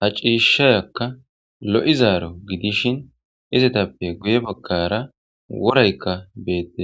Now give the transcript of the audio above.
Ha cishayaka Loizaro Gidishin izetape guye bagara Worayka betes